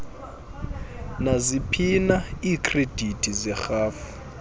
naziphina iikhredithi zerhafu